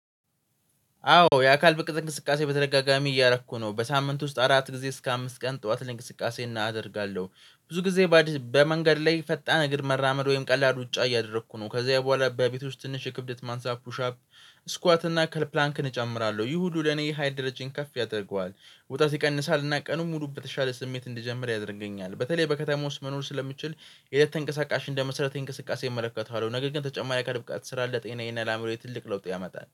አዎ የአካል ብቃት እንቅስቃሴ በተደጋጋሚ እያረኩ ነው በሳምንት ውስጥ አራት ጊዜ እስከ አምስት ቀን ጠዋት እንቅስቃሴ እናደርጋለሁ። ብዙ ጊዜ በ በመንገድ ላይ ፈጣን እግር መራመድ ወይም ቀላል ሩጫ እያደረኩ ነው። ከዛ በኋላ በቤቶች ትንሽ የክብደት ማንሳት ፑሻፕ ስኳት እና ከል ፕላንክን እጨምራለሁ። ይህ ሁሉ ለኔ የሀይል ደረጃዬን ከፍ ያደርገዋል። ውጥረት ይቀንሳል እና ቀኑን ሙሉ በተሻለ ስሜት እንድጀምር ያደርገኛል። በተለይ በከተማ ውስጥ መኖር ስለምችል የሄደት ተንቀሳቃሽ እንደመሰረተዊ እንቅስቃሴ እመለከተዋለሁ። ነገር ግን ተጨማሪ የአካል ብቃት ስራ ለጤናዬና አእምሮዬ ትልቅ ለውጥ ያመጣል።